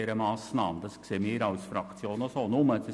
Das sehen wir als Fraktion auch so.